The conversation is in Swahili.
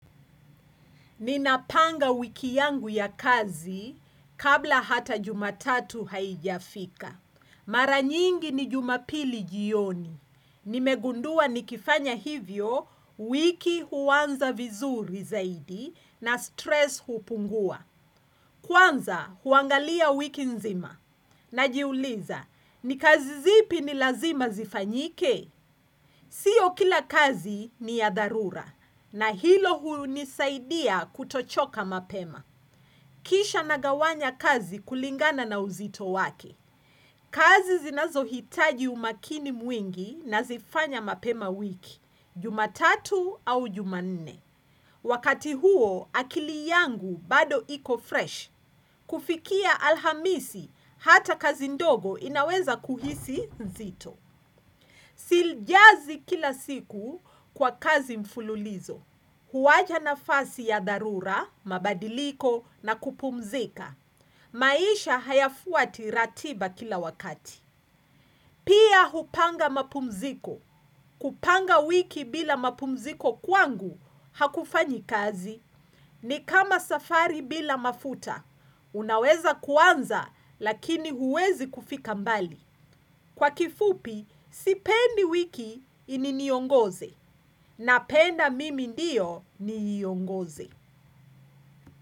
Ninapanga wiki yangu ya kazi kabla hata jumatatu haijafika. Mara nyingi ni jumapili jioni. Nimegundua nikifanya hivyo wiki huanza vizuri zaidi na stress hupungua. Kwanza huangalia wiki nzima. Najiuliza, ni kazi zipi ni lazima zifanyike? Sio kila kazi ni ya dharura na hilo hunisaidia kutochoka mapema. Kisha nagawanya kazi kulingana na uzito wake. Kazi zinazohitaji umakini mwingi nazifanya mapema wiki, jumatatu au jumanne. Wakati huo akili yangu bado iko fresh. Kufikia alhamisi hata kazi ndogo inaweza kuhisi nzito. Sijazi kila siku kwa kazi mfululizo huwacha nafasi ya dharura, mabadiliko na kupumzika maisha hayafuati ratiba kila wakati Pia hupanga mapumziko kupanga wiki bila mapumziko kwangu hakufanyi kazi ni kama safari bila mafuta Unaweza kuanza lakini huwezi kufika mbali Kwa kifupi, sipendi wiki iniongoze napenda mimi ndiyo niiongoze.